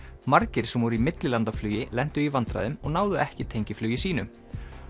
margir sem voru í millilandaflugi lentu í vandræðum og náðu ekki tengiflugi sínu